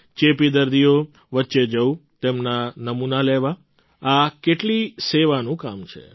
ચેપી દર્દીઓ વચ્ચે જવું તેમના નમૂના લેવા આ કેટલી સેવાનું કામ છે